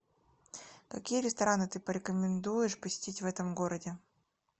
какие рестораны ты порекомендуешь посетить в этом городе